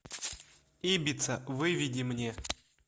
ибица выведи мне